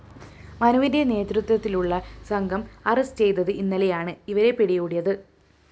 മനുവിന്റെ നേതൃത്വത്തിലുള്ള സംഘം അറസ്റ്റ്‌ ചെയ്തത് ഇന്നലെയാണ് ഇവരെ പിടികൂടിയത്